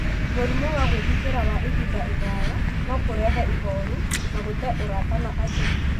Mũrimũ wa gwĩthikĩra wa ihinda iraya no kũrehe ihooru na gũtee ũrata na andũ.